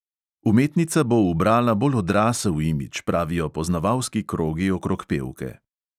Umetnica bo ubrala bolj odrasel imidž, pravijo poznavalski krogi okrog pevke.